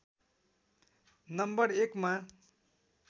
number १ मा